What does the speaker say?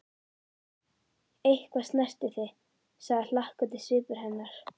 Eitthvað snerti þig, sagði hlakkandi svipur hennar.